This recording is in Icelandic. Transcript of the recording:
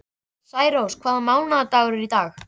Særós, hvaða mánaðardagur er í dag?